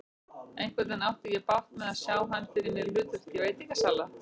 Einhvernveginn átti ég bágt með að sjá hann fyrir mér í hlutverki veitingasala.